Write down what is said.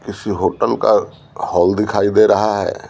किसी होटल का हॉल दिखाई दे रहा है।